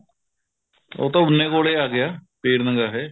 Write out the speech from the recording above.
ਉਹ ਤਾਂ ਉੰਨੇ ਕੋਲ ਆ ਗਿਆ ਪੀਰ ਨਗਾਹੇ